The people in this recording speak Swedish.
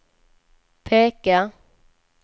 peka